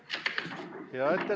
Läbirääkimiste soovi ei ole.